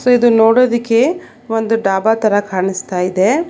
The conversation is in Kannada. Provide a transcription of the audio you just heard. ಇದು ನೋಡೋದಿಕ್ಕೆ ಒಂದು ಢಾಭಾ ತರ ಕಾಣಿಸ್ತಾ ಇದೆ.